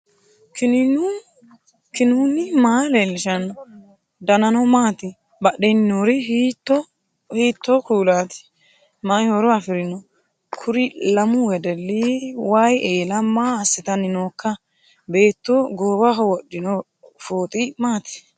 knuni maa leellishanno ? danano maati ? badheenni noori hiitto kuulaati ? mayi horo afirino ? kuri lamu wedelli wayi eela maa assitanni nooikka beettu goowaho wodhino fooxi maati